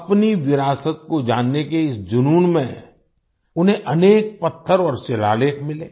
अपनी विरासत को जानने के इस जुनून में उन्हें अनेक पत्थर और शिलालेख मिले